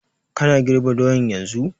Kana girb doyan yanzun?